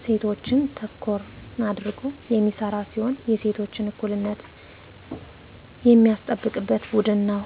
እሴቶችን ተኮር አድርጎ የሚሰራ ሲሆን የሴቶችን እኩልነት የሚያስጠብቅ ቡድን ነው።